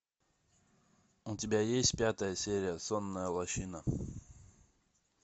у тебя есть пятая серия сонная лощина